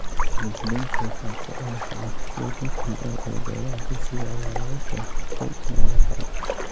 Hirgelinta wax ku oolka ah ee DPL ee goobaha dugsiga ayaa laga soo xigtay meelo kale.